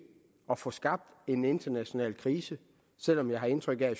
at få skabt en international krise selv om jeg har indtryk af